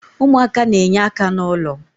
umuaka na-enye aka na ulo